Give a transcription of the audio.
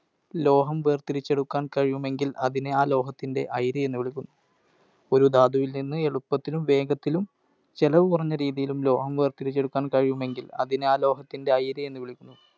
ലോഹം വേർതിരിച്ചെടുക്കാൻ കഴിയുമെങ്കിൽ അതിനെ ആ ലോഹത്തിൻ്റെ അയിര് എന്ന് വിളിക്കും. ഒരു ധാതുവിൽ നിന്ന് എളുപ്പത്തിലും വേഗത്തിലും ചെലവ് കുറഞ്ഞ രീതിയിലും ലോഹം വേർതിരിച്ചെടുക്കാൻ കഴിയുമെങ്കിൽ അതിനെ ആ ലോഹത്തിൻ്റെ അയിര് എന്ന് വിളിക്കും.